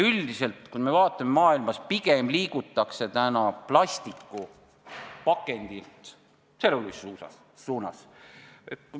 Üldiselt maailmas pigem liigutakse plastpakendilt tselluloosi suunas.